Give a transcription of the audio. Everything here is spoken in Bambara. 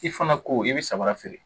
I fana ko i bɛ samara feere